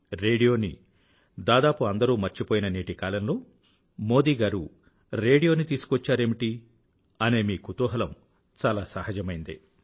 రేడియోని దాదాపు అందరూ మర్చిపోయిన నేటి కాలంలో మోదీ గారు రేడియోని తీసుకువచ్చారేమిటీ అనే మీ కుతూహలం చాలా సహజమైనదే